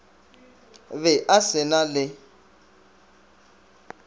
be a se na le